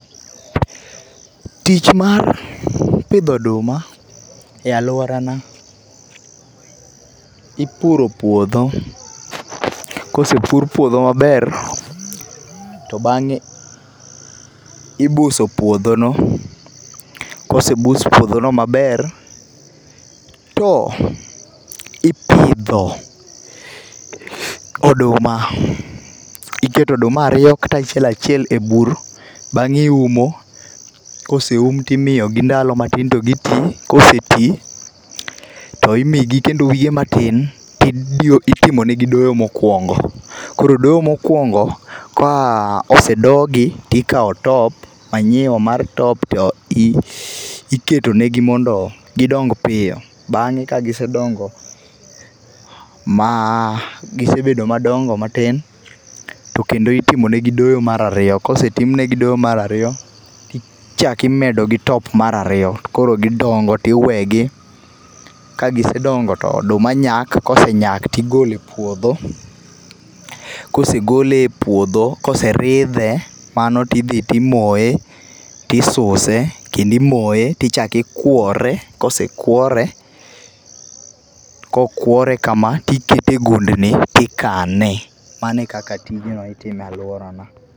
Tich mar pidho oduma e aluorana ipuro puodho kosepur puodho maber to bang'e ibuso puodhono kosebus puodhono maber to ipidho oduma , iketo oduma aryo kata achiel achiel ebur. Bang'e iumo, koseum to imiyogi ndalo matin to giti. Koseti to imiyo gi kendo wige matin to itimonegi doyo mokuongo. Koro doyo mokuongo kose dogi tikawo top, manyiwa mar top tiketo negi mondo gidong piyo. Bang'e ka gisedongo, ma gisebedo madongo matin, tomkendo itimo negi doyo maer ariyo. Kose tim negi doyo mar aryo to ichako imedogi top mar aryo to koro gidongo tiwegi. Ka gisedongo to oduma nyak kosenyak tigolo e puodho, kose gole epuodho kose ridhe kamano tidhi timoye, tisuse, kendo imoye tichakikuore. Kose kuore, kokuore kama tikete e gundni tikane. Mano e kaka tijni itimo e aluorana.